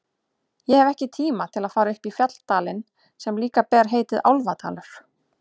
Ég hef ekki tíma til að fara upp í fjalladalinn sem líka ber heitið Álfadalur.